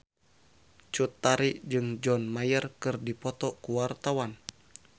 Cut Tari jeung John Mayer keur dipoto ku wartawan